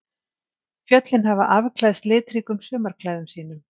Fjöllin hafa afklæðst litríkum sumarklæðum sínum.